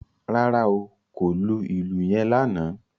Rárá o, kò lù ìlù yen lánàá